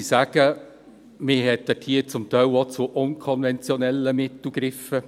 Man griff dort zum Teil auch zu unkonventionellen Mitteln.